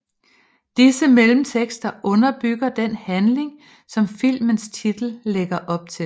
Disse mellemtekster underbygger den handling som filmens titel lægger op til